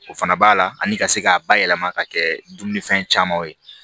O fana b'a la ani ka se k'a bayɛlɛma ka kɛ dumunifɛn caman ye